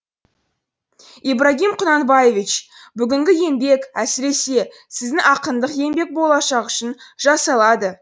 ибрагим құнанбаевич бүгінгі еңбек әсіресе сіздің ақындық еңбек болашақ үшін жасалады